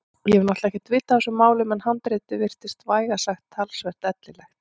Ég hef náttúrlega ekkert vit á þessum málum en handritið virtist vægast sagt talsvert ellilegt.